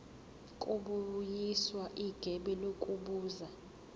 kubuyiswa igebe ngokubuza